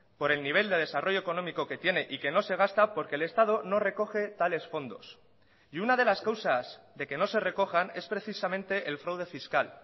por el nivel de desarrollo económico que tiene y que no se gasta porque el estado no recoge tales fondos y una de las causas de que no se recojan es precisamente el fraude fiscal